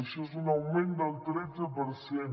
això és un augment del tretze per cent